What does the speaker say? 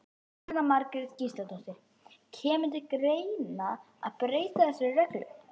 Jóhanna Margrét Gísladóttir: Kemur til greina að breyta þessari reglu?